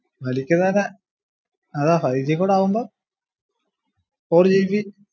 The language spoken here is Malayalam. അതാ ഫൈവ് ജി കൂടാ ആവുമ്പോൾ fourgb